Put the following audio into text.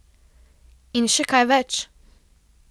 In še kaj več.